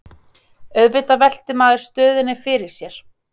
Auðvitað veltir maður stöðunni fyrir sér